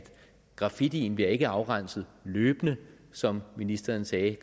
graffitien ikke bliver afrenset løbende som ministeren sagde